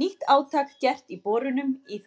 Nýtt átak gert í borunum í